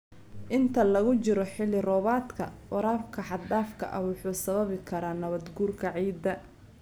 Inta lagu jiro xilli-roobaadka, waraabka xad-dhaafka ah wuxuu sababi karaa nabaad-guurka ciidda.